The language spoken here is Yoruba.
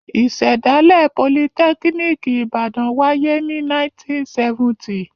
Ìṣẹ̀dálẹ̀ Politẹ́kíníkì Ìbàdàn wáyé ní 1970.